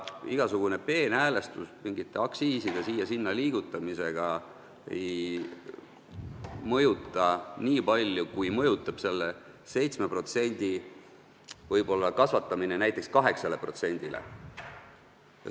Igasugune peenhäälestus mingite aktsiiside siia-sinna liigutamisega ei mõjuta nii palju, kui mõjutab selle 7% kasvatamine näiteks 8%-le.